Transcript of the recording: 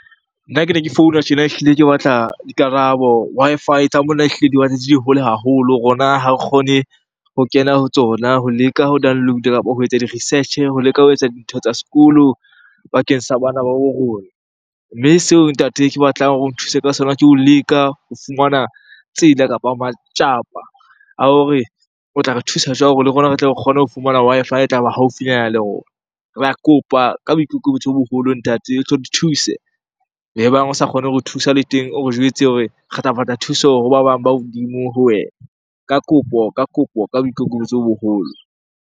Nna ke ne ke founa tjena ehlile ke batla dikarabo. Wi-Fi tsa mona ehlile di di hole haholo. Rona ha re kgone ho kena ho tsona ho leka ho download-a kapa ho etsa di-research-e, ho leka ho etsa dintho tsa sekolo bakeng sa bana ba bo rona. Mme seo ntate ke batlang hore o nthuse ka sona ke ho leka ho fumana tsela, kapa matsapa a hore o tla re thusa jwang hore le rona re tle re kgone ho fumana Wi-Fi e tlaba haufinyana le rona? Re a kopa ka boikokobetso bo boholo ntate o tlo di thuse. Ebang o sa kgone hore thusa le teng o re jwetse hore re tla batla thuso hoba bang ba hodimo ho wena. Ka kopo, ka kopo, ka boikokobetso bo boholo.